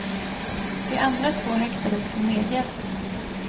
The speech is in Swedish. De andra två häktades för medhjälp.